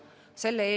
Lugupeetud minister!